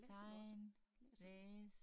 Tegne læse